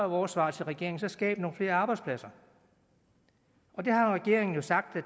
vores svar til regeringen så skab nogle flere arbejdspladser og det har regeringen jo sagt at